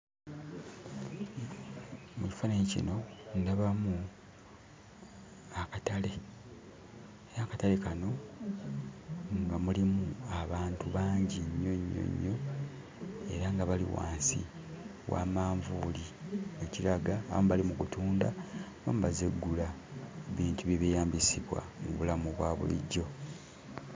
Mu kifaananyi kino ndabamu akatale naye akatale kano nga mulimu abantu bangi nnyo nnyo nnyo era nga bali wansi wa manvuuli ekiraga abamu bali mu kutunda abamu bazze ggula bintu bye beeyambisibwa mu bulamu obwa bulijjo.